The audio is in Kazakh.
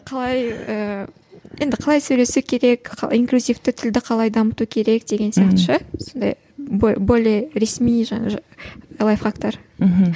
қалай ыыы енді қалай сөйлесу керек қалай инклюзивті тілді қалай дамыту керек деген сияқты ше сондай более ресми лайфхактар мхм